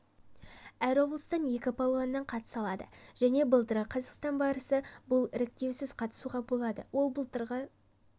әр облыстан екі палуаннан қатыса алады және былтырғы қазақстан барысы бұл іріктеусіз қатысуға болады ол былтырғы